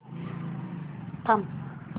थांब